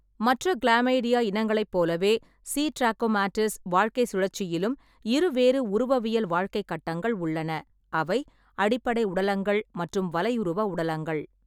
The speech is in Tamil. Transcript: மற்ற கிளாமைடியா இனங்களைப் போலவே, சி. ட்ராகோமாடிஸ் வாழ்க்கைச் சுழற்சியிலும் இருவேறு உருவவியல் வாழ்க்கைக் கட்டங்கள் உள்ளன, அவை அடிப்படை உடலங்கள் மற்றும் வலையுருவ உடலங்கள்.